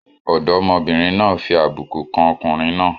Ọ̀dọ́mọbìnrin náà fi àbùkù kan ọkùnrin náà.